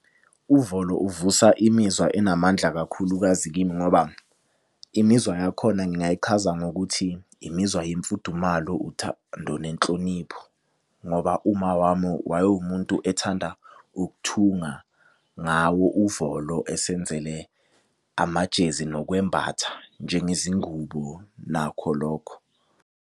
Uvolo uvusa imizwa enamandla kakhulukazi kimi ngoba, imizwa yakhona ngingayichaza ngokuthi imizwa yemfudumalo, uthando nenhlonipho. Ngoba umama wami wayewumuntu ethanda ukuthunga ngawo uvolo esenzele amajezi nokwembatha njengezingubo nakho lokho.